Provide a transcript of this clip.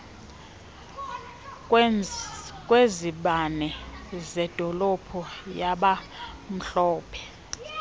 kwezibane zedolophu yabamhlophe